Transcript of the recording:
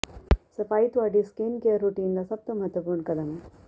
ਸਫਾਈ ਤੁਹਾਡੀ skincare routine ਦਾ ਸਭ ਤੋਂ ਮਹੱਤਵਪੂਰਨ ਕਦਮ ਹੈ